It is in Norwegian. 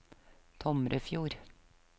Tomrefjord